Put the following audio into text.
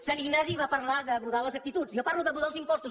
sant ignasi va parlar de mudar les actituds jo parlo de mudar els impostos